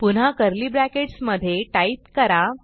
पुन्हा curly brackets मधे type करा